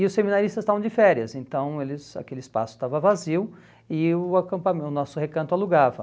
E os seminaristas estavam de férias, então eles aquele espaço estava vazio e o acampa o nosso recanto alugava.